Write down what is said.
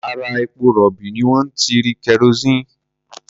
Ara epo-rọ̀bì ni wọ́n ti rí kerosíìnì.